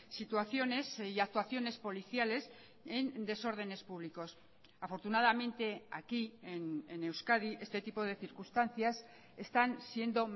situaciones y actuaciones policiales en desórdenes públicos afortunadamente aquí en euskadi este tipo de circunstancias están siendo